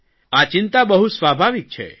આ ચિંતા બહુ સ્વાભાવિક છે